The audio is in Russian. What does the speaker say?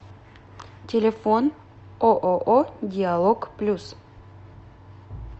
телефон ооо диалог плюс